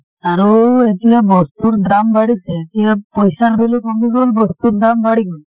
আৰু এতিয়া বস্তুৰ দাম বাঢ়িছে । এতিয়া পইছাৰ value কমি গল বস্তুৰ দাম বাঢ়ি গল ।